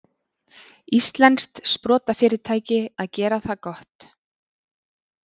Íslenskt sprotafyrirtæki að gera það gott